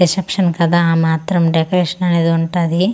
Reception కదా ఆ మాత్రం డెకోరేషన్ అనేది ఉంటాది.